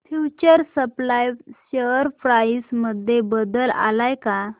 future supply share price मध्ये बदल आलाय का